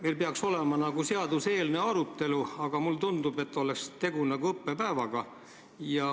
Meil peaks nagu olema seaduseelnõu arutelu, aga mulle tundub, et tegu on nagu õppepäevaga.